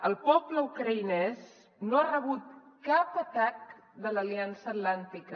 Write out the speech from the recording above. el poble ucraïnès no ha rebut cap atac de l’aliança atlàntica